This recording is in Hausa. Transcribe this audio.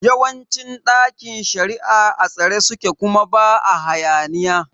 Yawancin ɗakin shari'a a tsare suke kuma ba hayaniya